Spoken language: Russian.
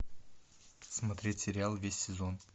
смотреть сериал весь сезон